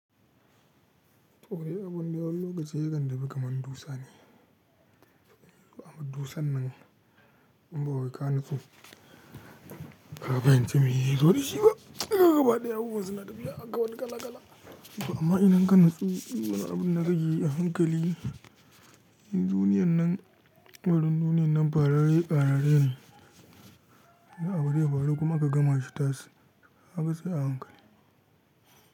To, no abun dai wani lokaci yakan tafi kaman dusa ne, amma dusan nan in ba wa ka natsu ka fahimci meye yazo da shi ba, yauwa hard yawo wai suna tafiya haka wani gala-gala. Amma idan ka nutsu wani abun da ka keyi a hankali, duniyar nan lamarin duniyan nan farare ƙarare ne, da abu zai faru kuma ka gama shi tas, kaga sai a hankali.